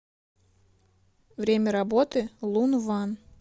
время работы лун ван